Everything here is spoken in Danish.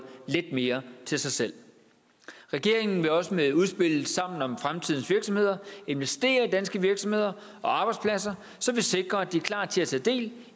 lidt mere til sig selv regeringen vil også med udspillet sammen om fremtidens virksomheder investere i danske virksomheder og arbejdspladser så vi sikrer at de er klar til at tage del